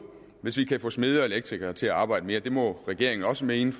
hvis vi kan få smede og elektrikere til at arbejde mere det må regeringen også mene